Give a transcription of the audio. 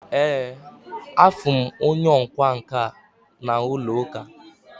Ee, Afurum onye ọkwá nkà na ulo-uka